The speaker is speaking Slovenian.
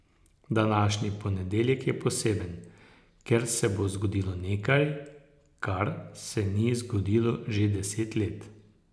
Današnji ponedeljek je poseben, ker se bo zgodilo nekaj, kar se ni zgodilo že deset let.